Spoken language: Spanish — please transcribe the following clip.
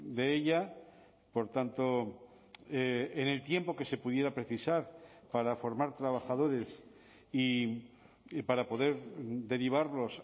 de ella por tanto en el tiempo que se pudiera precisar para formar trabajadores y para poder derivarlos